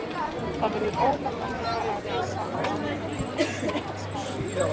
Það verður óhjákvæmilegt að reisa háskólanum nýtt hús við hans hæfi.